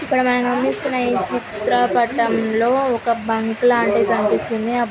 ఇక్కడ మనం గమనిస్తున్న ఈ చిత్ర పటంలో ఒక బంక్ లాంటిది కనిపిస్తుంది. ఆ--